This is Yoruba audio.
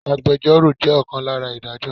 Agbẹjoro jẹ́ ọ̀kan lára Ìdájọ́.